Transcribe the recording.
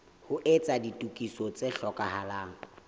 ho etsa ditokiso tse hlokahalang